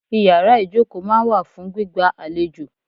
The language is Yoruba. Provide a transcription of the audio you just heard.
Ìyàrá ìjókòó máa ń wà fún gbígba àlejò.